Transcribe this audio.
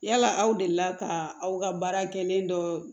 Yala aw delila ka aw ka baara kelen dɔ